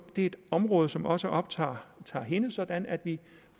et område som også optager hende sådan at vi